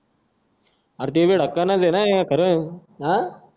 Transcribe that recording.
अरं ते बी ढक्कनच ना खरं अं